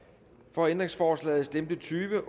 for ændringsforslaget stemte tyve